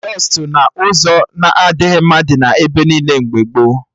Dọstụ n'ụzọ na-adịghị mma dị ebe niile mgbe gboo